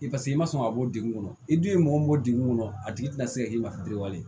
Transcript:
I paseke i ma sɔn ka bɔ degun kɔnɔ i dun ye mɔgɔ min bɔ dingɛ kɔnɔ a tigi te na se ka e ma biriw